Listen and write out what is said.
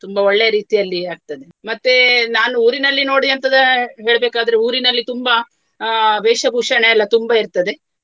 ತುಂಬಾ ಒಳ್ಳೆಯ ರೀತಿಯಲ್ಲಿಯ ಆಗ್ತದೆ. ಮತ್ತೆ ನಾನು ಊರಿನಲ್ಲಿ ನೋಡಿ ಎಂತದ ಹೇಳ್ಬೆಕಾದ್ರೆ ಊರಿನಲ್ಲಿ ತುಂಬಾ ಅಹ್ ವೇಷಭೂಷಣ ಎಲ್ಲ ತುಂಬಾ ಇರ್ತದೆ.